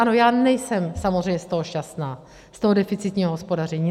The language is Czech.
Ano, já nejsem samozřejmě z toho šťastná, z toho deficitního hospodaření.